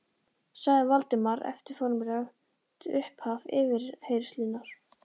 sagði Valdimar eftir formlegt upphaf yfirheyrslunnar.